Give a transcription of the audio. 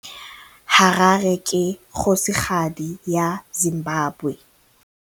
Harare ke kgosigadi ya Zimbabwe.